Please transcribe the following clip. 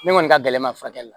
Ne kɔni ka gɛlɛn ma furakɛli